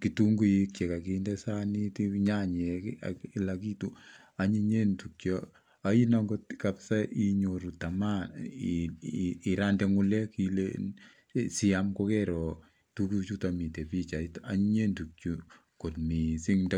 kitunguik chekakinde sanit, nyanyek ak kila kitu, anyinyen tuguchu yaain akot inyoru tamaa irande ngulekile siaam ko keero tuguchuto mitai pichait. Anyiny tuguchu kot mising.